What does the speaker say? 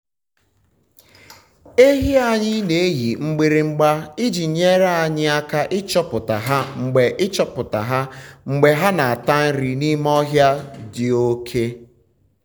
ehi anyị na-eyi mgbịrịgba iji nyere anyị aka ịchọpụta ha mgbe ịchọpụta ha mgbe ha na-ata nri n’ime ọhịa dị oke.